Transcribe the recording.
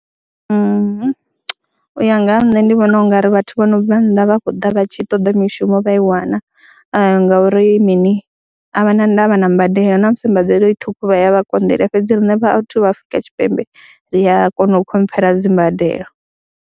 U ya nga ha nṋe ndi vhona u nga ri vhathu vho no bva nnḓa vha khou ḓa vha tshi ṱoḓa mishumo vha i wana ngauri mini, a vha na ndavha na mbadelo na musi mbadelo i ṱhukhu vha ya vha konḓelela fhedzi riṋe vhathu vha Afrika Tshipembe ri a kona u khomphera dzi mbadelo.